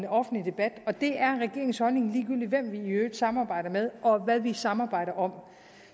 en offentlig debat det er regeringens holdning ligegyldig hvem vi i øvrigt samarbejder med og hvad vi samarbejder om